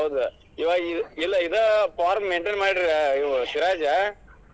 ಹೌದ್ ಇಲ್ಲ ಇವ ಇದ್ form maintain ಮಾಡಿದ್ರ್ ಇವ್ ಸಿರಾಜ.